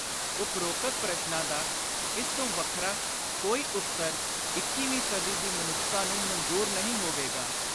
ਉਪ੍ਰੋਕਤ ਪ੍ਰਸ਼ਨਾਂ ਦਾ ਇਸ ਤੋਂ ਵੱਖਰਾ ਕੋਈ ਉੱਤਰ ਇੱਕੀਵੀਂ ਸਦੀ ਦੀ ਮਨੁੱਖਤਾ ਨੂੰ ਮਨਜ਼ੁਰ ਨਹੀਂ ਹੋਵੇਗਾ।